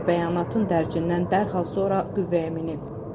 Qərar bəyanatın dərcindən dərhal sonra qüvvəyə minib.